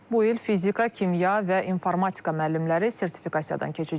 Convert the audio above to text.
Bu il fizika, kimya və informatika müəllimləri sertifikasiyadan keçəcəklər.